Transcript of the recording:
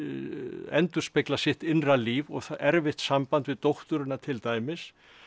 endurspegla sitt innra líf og erfitt samband við dótturina til dæmis